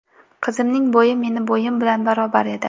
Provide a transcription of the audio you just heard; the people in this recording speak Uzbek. Qizimning bo‘yi meni bo‘yim bilan barobar edi.